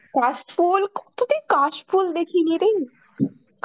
কাশফুল, কতদিন কাশফুল দেখিনি এটাই